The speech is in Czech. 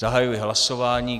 Zahajuji hlasování.